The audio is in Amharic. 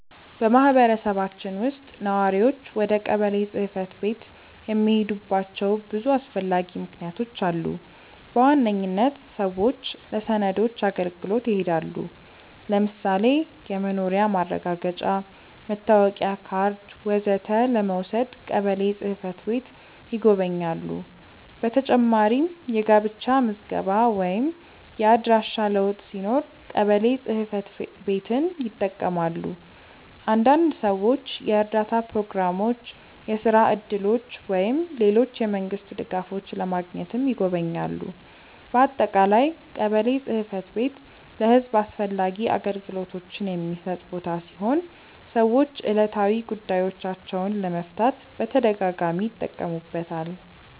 በማህበረሰባችን ውስጥ ነዋሪዎች ወደ ቀበሌ ጽ/ቤት የሚሄዱባቸው ብዙ አስፈላጊ ምክንያቶች አሉ። በዋነኝነት ሰዎች ለሰነዶች አገልግሎት ይሄዳሉ። ለምሳሌ የመኖሪያ ማረጋገጫ፣ መታወቂያ ካርድ ወዘተ ለመውሰድ ቀበሌ ጽ/ቤት ይጎበኛሉ። በተጨማሪም የጋብቻ ምዝገባ ወይም የአድራሻ ለውጥ ሲኖር ቀበሌ ጽ/ቤትን ይጠቀማሉ። አንዳንድ ሰዎች የእርዳታ ፕሮግራሞች፣ የስራ እድሎች ወይም ሌሎች የመንግስት ድጋፎች ለማግኘትም ይጎበኛሉ። በአጠቃላይ ቀበሌ ጽ/ቤት ለህዝብ አስፈላጊ አገልግሎቶችን የሚሰጥ ቦታ ሲሆን ሰዎች ዕለታዊ ጉዳዮቻቸውን ለመፍታት በተደጋጋሚ ይጠቀሙበታል።